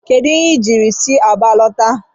Kedu ihe i jiri si Aba lọta?